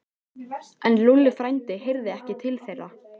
En Lúlli frændi heyrði ekki til þeirra.